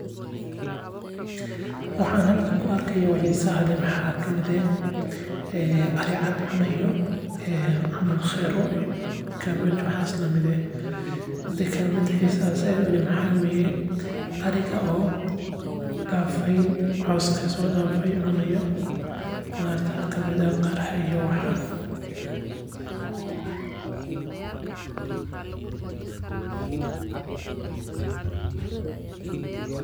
Waxaan halkan ku arkaa oo xiisa leh waxaa kamid ah ari cad oo cunaayo kabachka ariga oo cooska soo dafau oo cunaayo qudaarta.